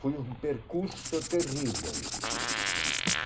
Foi um percurso terrível.